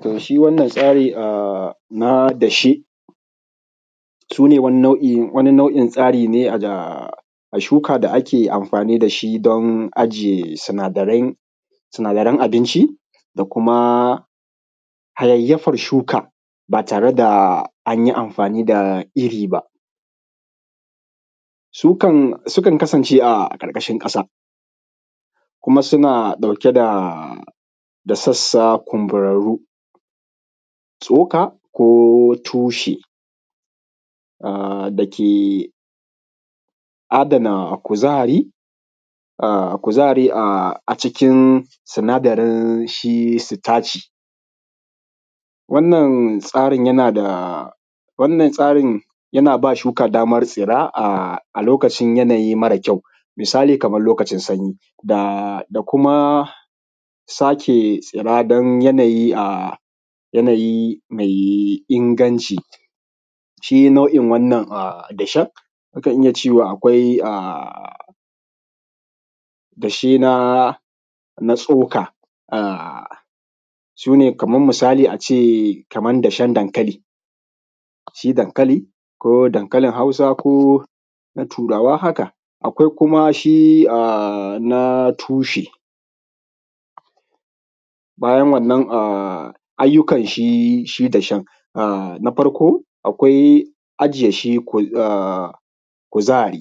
Toh shi wannan tsari na dashe sune wani nau’in tsari ne a shuka da ake amfani da shi don aje sunadarain abinci, da kuma hayayyafan shuka ba tare da anyi amfani da iri ba. Sukan kasance a ƙarƙashin ƙasa kuma suna ɗauke da sassa kumburarru. Shuka, ko tushe da ke adana kuzari, kuzari a cikin sinadarin shi sitaci, wannan tsarin yana ba shuka damar tsira a lokacin yanayi mara kyau. Misali kaman lokacin sanyi, da kuma sake tsira don yanayi mai inganci. Shi nau’i wannan dashen mukan iya cewa akwai dashe na tsoka, sune kaman misali ace kaman dashen dankali, shi dankali ko dankalin hausa, ko na turawa haka akwai kuma shi na tushe bayan wannan, ayyukan shi shi dashen, na farko ajiye shi kuzari,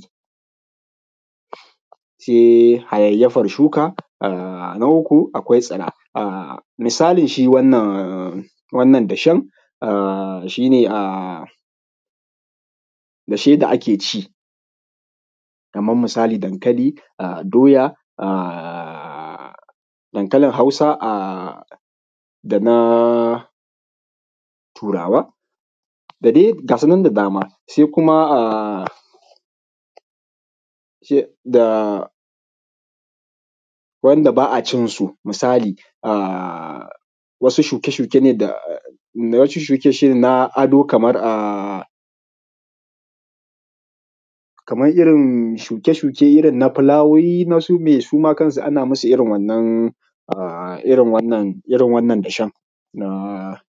sai hayayyafar shuka, na uku akwai tsira. Misali shi wannan dashen shi ne dashe da ake ci, kaman misali dankali doya, dankalin hausa, da na turawa da dai gasu nan da dama. Sai kuma da wanda ba a cinsu misali wasu shuke shuke ne da wasu shuke na ado kamar irin shuke shuke irin na fulawoyi na su me suma kansu ana musu irin wannan a irin wannan dashen na.